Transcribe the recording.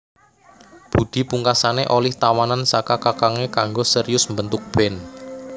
Budi pungkasané olih tawanan saka kakangé kanggo serius mbentuk band